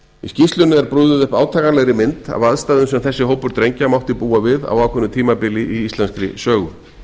í skýrslunni er brugðið upp átakanlegri mynd af aðstæðum sem þessi hópur drengja mátti búa við á ákveðnu tímabili í íslenskri sögu